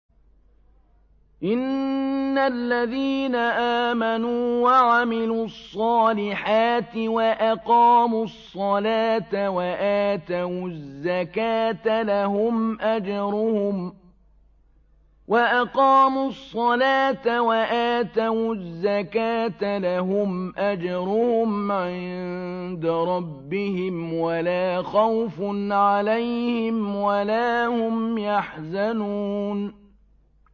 إِنَّ الَّذِينَ آمَنُوا وَعَمِلُوا الصَّالِحَاتِ وَأَقَامُوا الصَّلَاةَ وَآتَوُا الزَّكَاةَ لَهُمْ أَجْرُهُمْ عِندَ رَبِّهِمْ وَلَا خَوْفٌ عَلَيْهِمْ وَلَا هُمْ يَحْزَنُونَ